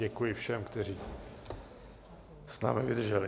Děkuji všem, kteří s námi vydrželi.